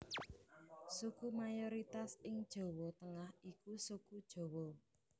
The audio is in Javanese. Suku mayoritas ing Jawa Tengah iku Suku Jawa